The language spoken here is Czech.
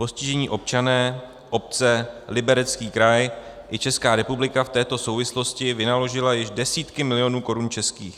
Postižení občané, obce, Liberecký kraj i Česká republika v této souvislosti vynaložili již desítky milionů korun českých.